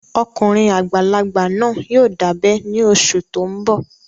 Ọkùnrin àgbàlagbà náà yóò dábẹ́ ní oṣù tó n bọ̀